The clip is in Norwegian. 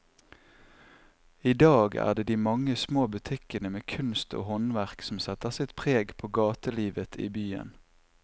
I dag er det de mange små butikkene med kunst og håndverk som setter sitt preg på gatelivet i byen.